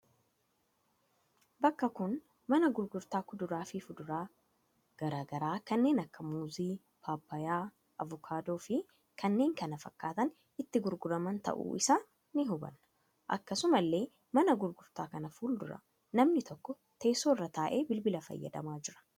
Bakka kun mana gurgurtaa kuduraa fi fuduraan gara garaa kanneen akka muuzii, paappayyaa, avukaadoo fi kanneen kana fakkaatan itti gurguraman ta'uu isaa ni hubanna. Akkasuma illee mana gurgurtaa kana fuuldura namni tokko teessoo irra taa'ee bilbila fayyadamaa jira.